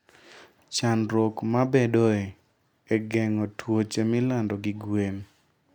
Chandruok mabedoe e geng'o tuoche milando gi gwen.